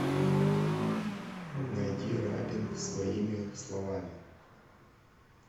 найди рабин своими словами